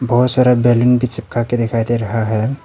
बहुत सारा बैलून भी चिपका के दिखाई दे रहा है।